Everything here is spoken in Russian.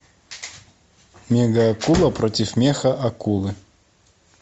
мега акула против меха акулы